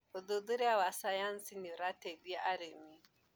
ũthuthuria wa sayansi nĩũrateithia arĩmi.